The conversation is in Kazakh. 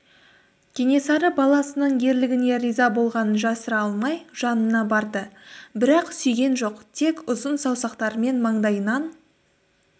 кенесары баласының ерлігіне риза болғанын жасыра алмай жанына барды бірақ сүйген жоқ тек ұзын саусақтарымен маңдайынан